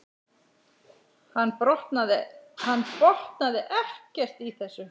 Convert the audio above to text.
Hann botnaði ekkert í þessu.